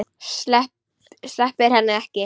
Sleppir henni ekki.